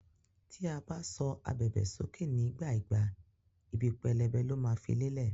Tí a ba sọ ábèbè sókè nígbà ìgbà, ìbí pẹlẹbẹ lo ma fí le'lẹ.